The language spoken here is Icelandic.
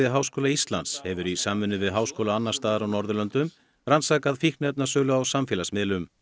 Háskóla Íslands hefur í samvinnu við háskóla annars staðar á Norðurlöndum rannsakað fíkniefnasölu á samfélagsmiðlum